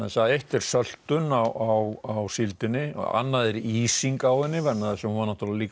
að eitt er söltun á síldinni annað er ísing á henni vegna þess að hún var náttúrulega líka